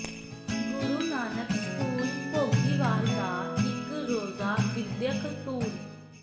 ਗੁਰੂ Nanak school Bhogiwal ਦਾ ਇਕ ਰੋਜ਼ਾ ਵਿੱਦਿਅਕ ਟੂਰ